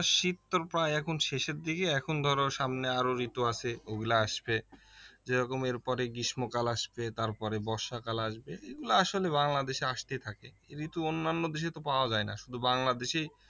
শীত তো প্রায় এখন শেষের দিকে এখন ধরো সামনে আরও ঋতু আছে ওগুলা আসবে যে রকম এরপরে গ্রীষ্মকাল আসবে তারপরে বর্ষাকাল আসবে এগুলা আসলে বাংলাদেশে আসতেই থাকে ঋতু অন্যান্য দেশে তো পাওয়া যায় না শুধু বাংলাদেশেই